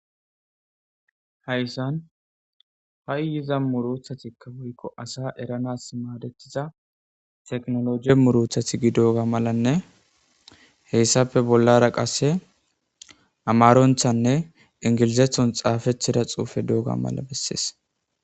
Hayssan ha'i yiza muruthatikka woykko asa eranas maadetiza teknoloji murothati gidooga malanne heyssape bollara qasse amaronthanne ingilizethon xaafethida xuufe dooga mala bessees.